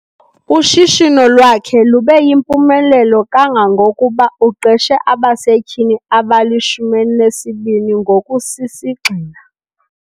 Ushishino lwakhe lube yimpumelelo kangangokuba uqeshe abasetyhini abali-12 ngokusisigxina.